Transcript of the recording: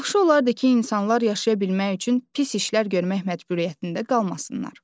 Yaxşı olardı ki, insanlar yaşaya bilmək üçün pis işlər görmək məcburiyyətində qalmasınlar.